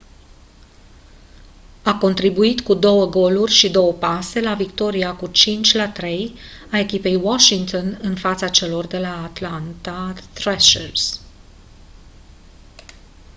a contribuit cu 2 goluri și 2 pase la victoria cu 5-3 a echipei washington în fața celor de la atlanta thrashers